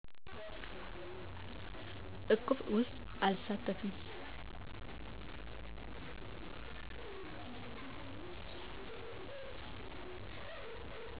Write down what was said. እቁብ ውስጥ አልሳተፍም